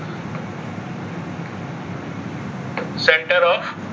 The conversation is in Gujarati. center of.